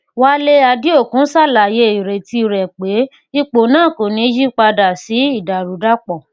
wale adeokun ṣàlàyé ìrètí rẹ pé ipò náà kò ní yí padà sí ìdàrúdàpọ